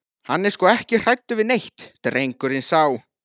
Hann er sko ekki hræddur við neitt, drengurinn sá.